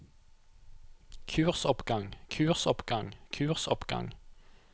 kursoppgang kursoppgang kursoppgang